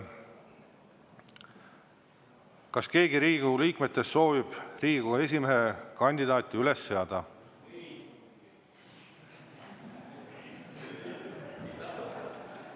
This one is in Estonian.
Kas keegi Riigikogu liikmetest soovib Riigikogu esimehe kandidaati üles seada?